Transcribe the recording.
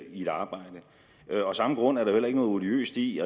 i et arbejde af samme grund er der jo heller ikke noget odiøst i